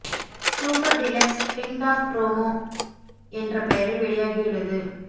super Deluxe ding dong promo என்ற பெயரில் வெளியாகியுள்ளது